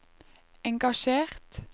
engasjert